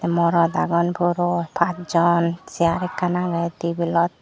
morot agon puro paj jon chair ekkan agey tebilot .